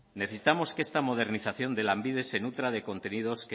necesitamos que esta modernización de lanbide se nutra de contenidos